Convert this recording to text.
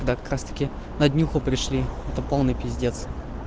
да как раз таки на днюху пришли это полный пиздец